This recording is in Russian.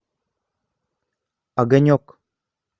огонек